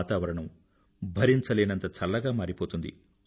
వాతావరణం భరించలేనంత చల్లగా మారిపోతుంది